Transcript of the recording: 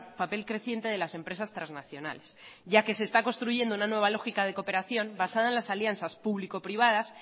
papel creciente de las empresas transnacionales ya que se está construyendo una nueva lógica de cooperación basada en las alianzas público privadas